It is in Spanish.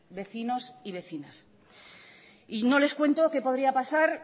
vecinos y vecinas y no les cuento que podría pasar